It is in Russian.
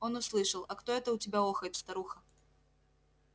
он услышал а кто это у тебя охает старуха